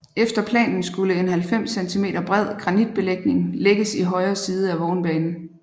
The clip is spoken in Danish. Efter planen skulle en 90 centimeter bred granitbelægning lægges i højre side af vognbanen